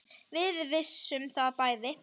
Við vissum það bæði.